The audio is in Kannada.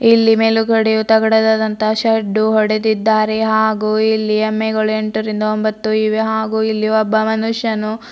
ಇಲ್ಲಿ ಮೇಲುಗಡೆ ತಗಡದಾದಂತಹ ಶೆಡ್ದು ಹೊಡೆದಿದ್ದಾರೆ ಹಾಗು ಇಲ್ಲಿ ಎಮ್ಮೆಗಳು ಎಂಟರಿಂದ ಒಂಬತ್ತು ಇವೆ ಹಾಗು ಇಲ್ಲಿ ಒಬ್ಬ ಮನುಷ್ಯನು --